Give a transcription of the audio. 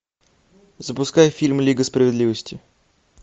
запускай фильм лига справедливости